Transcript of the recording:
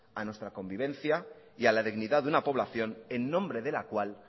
a nuestra convivencia y a la dignidad de una población en nombre de la cual